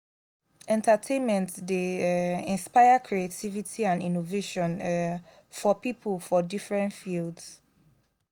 entertainment dey um inspire creativity and innovation um for pipo for different fields.